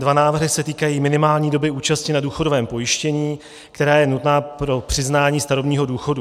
Dva návrhy se týkají minimální doby účasti na důchodovém pojištění, která je nutná pro přiznání starobního důchodu.